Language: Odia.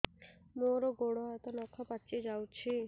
ମୋର ଗୋଡ଼ ହାତ ନଖ ପାଚି ଯାଉଛି